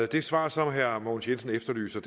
det svar som herre mogens jensen efterlyser